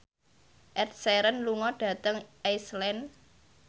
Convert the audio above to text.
Ed Sheeran lunga dhateng Iceland